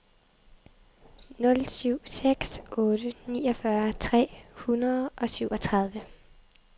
nul syv seks otte niogfyrre tre hundrede og syvogtredive